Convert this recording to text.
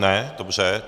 Ne, dobře.